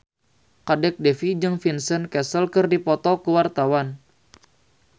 Kadek Devi jeung Vincent Cassel keur dipoto ku wartawan